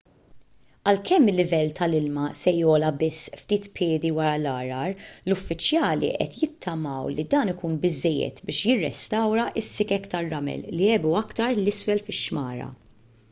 għalkemm il-livell tal-ilma se jogħla biss ftit piedi wara l-għargħar l-uffiċjali qed jittamaw li dan ikun biżżejjed biex jirrestawra s-sikek tar-ramel li għebu aktar l isfel fix-xmara